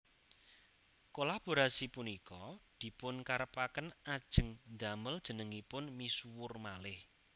Kolaborasi punika dipun karepaken ajeng ndamel jenengipun misuwur malih